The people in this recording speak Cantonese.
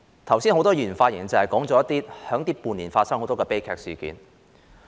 剛才很多議員發言時，提及這半年間發生的多宗悲劇事件。